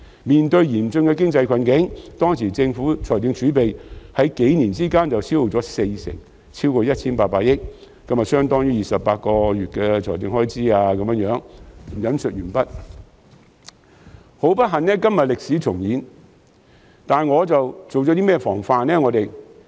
面對嚴峻的經濟困境，當時政府財政儲備在這幾年間就消耗了四成，超過 1,800 億元，由相當於28個月的政府開支……"很不幸，今天歷史重演，但我們做了些甚麼防範呢？